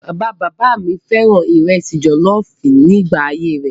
Bàba bàbá mi fẹ́ràn ìrẹsì jọ̀lọ́ọ́fù nígbà ayé rẹ̀.